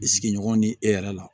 Sigiɲɔgɔn ni e yɛrɛ la